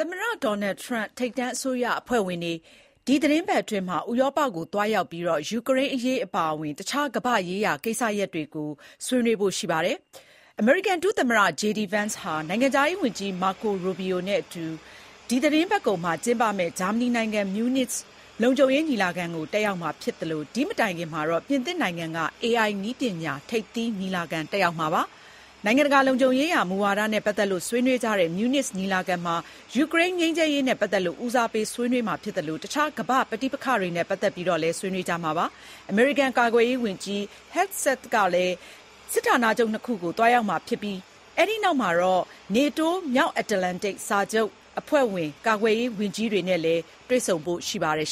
မတဒေါ်နယ်ထရမ့်ရဲ့ ထိပ်တန်းအစိုးရအဖွဲ့ဝင်တွေ ခုသီတင်းပတ်အတွင်း ဥရောပကိုသွားရောက်ပြီး ယူကရိန်းအရေးအပါအဝင် တခြားကမ္ဘာ့ရေးရာကိစ္စရပ်တွေနဲ့ပတ်သက်ပြီးတော့ ဆွေးနွေးဖို့ ရှိပါတယ်။ အမေရိကန် ဒုသမ္မတ JD Vance ဟာ နိုင်ငံခြားရေးဝန်ကြီး Marco Rubio နဲ့အတူ ဒီသီတင်းပတ်ကုန်မှာ ကျင်းပမယ့် ဂျာမနီနိုင်ငံ၊ မြူးနစ် လုံခြုံရေးညီလာခံကို တက်ရောက်မှာဖြစ်သလို ဒီမတိုင်ခင်မှာတော့ ပြင်သစ်နိုင်ငံက AI နည်းပညာ ထိပ်သီးညီလာခံတက်ရောက်မှာ ဖြစ်ပါတယ်။ နိုင်ငံတကာလုံခြုံရေးရာ မူဝါဒနဲ့ ပတ်သက်ပြီးဆွေးနွေးကြတဲ့ မြူးနစ်ညီလာခံမှာ ယူကရိန်းငြိမ်းချမ်းရေးအတွက် ဦးစားပေး ဆွေးနွေးမှာဖြစ်သလို တခြား ကမ္ဘာ့ပဋိပက္ခတွေအရေးကိုလည်း ဆွေးနွေးကြမှာပါ။ အမေရိကန် ကာကွယ်ရေးဝန်ကြီး Pete Hegseth လည်း စစ်ဌာနချုပ် ၂ ခုကို သွားရောက်မှာဖြစ်ပြီး ဒီနောက်မှာတော့ NATO မြောက်အတ္တလန်တိတ် စစ်စာချုပ် အဖွဲ့ဝင် ကာကွယ်ရေးဝန်ကြီးတွေနဲ့လည်း တွေ့ဆုံဖို့ ရှိပါတယ်